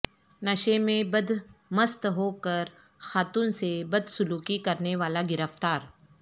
نشے میں بد مست ہوکرخاتون سے بد سلوکی کرنے والاگرفتار